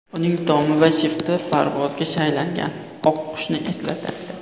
Uning tomi va shifti parvozga shaylangan oq qushni eslatadi.